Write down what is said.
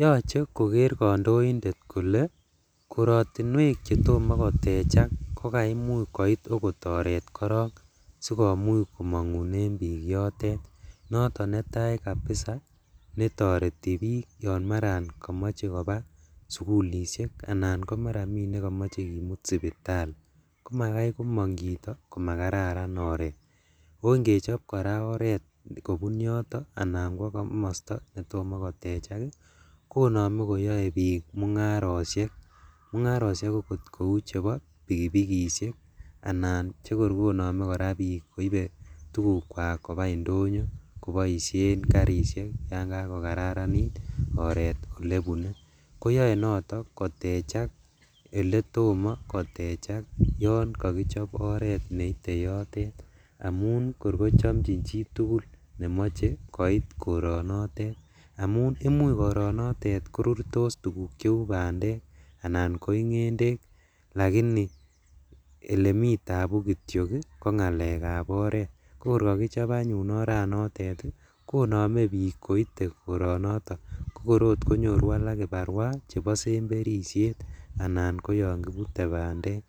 Yoche kondointet kolee korotinwek chetomo kotechak ko maimuch koit oreet korong sikomuch komongunen biik yotet, noton netai kabisaa netoreti biik yoon maran komoche koba sukulishek anan maran komii nekomoche kimut sipitali, komakai komong chito ko makararan chito, oo ngechob oreet kobun yoton anan ko komosto netomo kotechak konome koyoe biik mung'aroshek, mung'aroshekakog cheuu chebo pikipikishek anan chekor konome kora biik koibe tukukwak kobaa indonyo koboishen karishek yoon ibakokararanit oreet olebune, koyoe noton kotechak eletomo kotechak yoon kokichob oreet neite yotet amun kor kochomnjin chitul nemoche koronotet amun imuch koronotet korurtos tukuk cheuu bandek anan koii ng'endek lakini elemii tabuu kityok ko ng'alekab oreet, ko kor kokichob anyun oranotet konome biik koite koronoton, ko kor oot konyoru alak kibarua chebosemberisiet anan ko yoon kibire bandek,